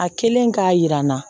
A kelen k'a jira n na